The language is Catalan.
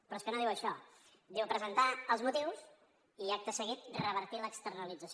però és que no diu això diu presentar els motius i acte seguit revertir l’externalització